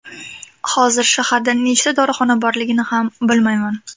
Hozir shaharda nechta dorixona borligini ham bilmayman.